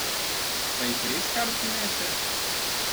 Pa jih res kar prinese?